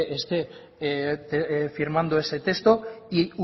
esté firmando ese texto y